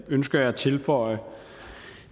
ønsker jeg at tilføje